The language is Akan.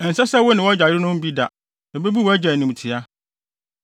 “ ‘Ɛnsɛ sɛ wo ne wʼagya yerenom mu bi da; ebebu wʼagya animtiaa.